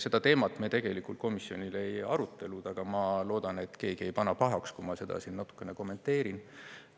Seda teemat me tegelikult komisjonis ei arutanud, aga ma loodan, et keegi ei pane pahaks, kui ma seda siin natukene kommenteerin.